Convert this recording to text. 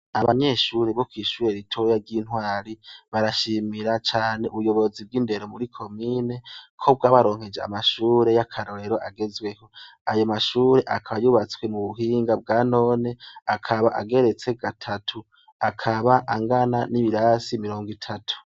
Abanyeshuri bukwishure ritoya ry'intwari barashimira cane ubuyobozi bw'indero muri komine ko bw’ abaronkeje amashure y'akarorero agezweho ayo mashure akabayubatswe mu buhinga bwa none akaba ageretse gatatu akaba angana n'ibirasi mirongo itatu.